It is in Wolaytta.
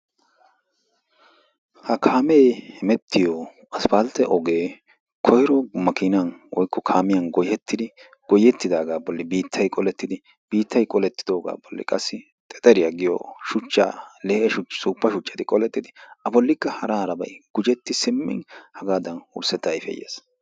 Ha kaamee hemettiyo isppaltte ogee koyro makiinan woykko kaamiyan goyettidi goyettidaagaa bolli biittay qolettidi biittay qolettidoogaa bolli qassi xexeriya giyo shuchchaa lee"e suuppa shuchchati qolettidi a bollikka hara harabayi gujetti simmin hagaadan wurssetta ayfee yes.